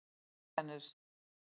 á reykjanesi